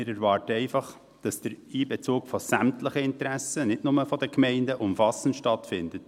Wir erwarten einfach, dass der Einbezug sämtlicher Interessen, nicht nur der Gemeinden, umfassend erfolgt.